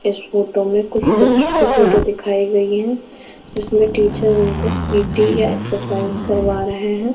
इस फोटो में कुछ बच्चों के फोटो दिखाई गई है जिसमे टीचर उनको पी_टी या एक्सरसाइज करवा रहे हैं।